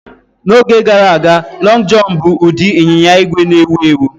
N'oge gara aga, "Lọng Jọn" bụ ụdị ịnyịnya ígwè na-ewu ewu